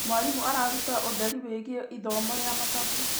Mwarimũ araruta ũtheri wĩgiĩ ithomo rĩa mathabu.